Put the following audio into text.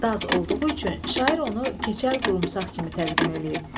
Daz olduğu üçün şair onu keçəl qurumsaq kimi təqdim eləyib.